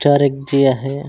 चार एक झी आ हे।